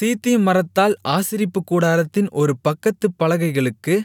சீத்திம் மரத்தால் ஆசரிப்புக்கூடாரத்தின் ஒரு பக்கத்துப் பலகைகளுக்கு